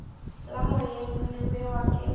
la moeng le bewa ke